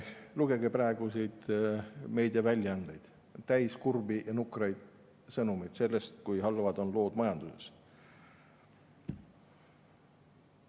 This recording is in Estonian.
Lugege praeguseid meediaväljaandeid – need on täis kurbi ja nukraid sõnumeid sellest, kui halvad on lood majanduses.